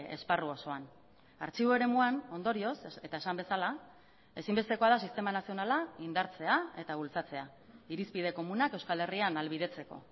esparru osoan artxibo eremuan ondorioz eta esan bezala ezinbestekoa da sistema nazionala indartzea eta bultzatzea irizpide komunak euskal herrian ahalbidetzeko